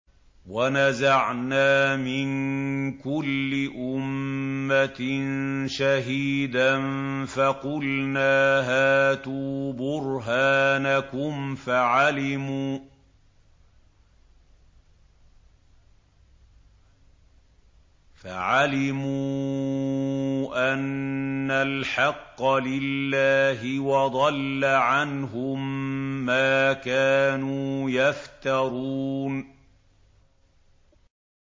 وَنَزَعْنَا مِن كُلِّ أُمَّةٍ شَهِيدًا فَقُلْنَا هَاتُوا بُرْهَانَكُمْ فَعَلِمُوا أَنَّ الْحَقَّ لِلَّهِ وَضَلَّ عَنْهُم مَّا كَانُوا يَفْتَرُونَ